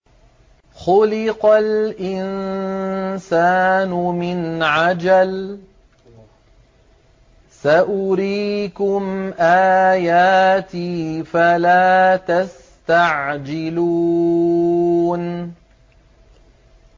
خُلِقَ الْإِنسَانُ مِنْ عَجَلٍ ۚ سَأُرِيكُمْ آيَاتِي فَلَا تَسْتَعْجِلُونِ